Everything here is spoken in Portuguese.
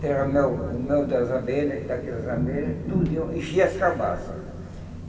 Tirava o mel o mel das abelhas, daquelas abelhas, tudinho, enchia as cabaças.